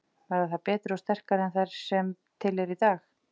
Verða þær betri og sterkari en þær sem til eru í dag?